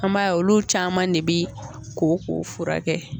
An m'a ye olu caman ne bi kokow fura kɛ.